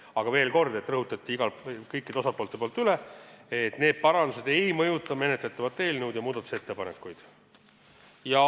Aga veel kord, kõik osapooled rõhutasid üle, et need parandused ei mõjuta menetletavat eelnõu ja muudatusettepanekuid.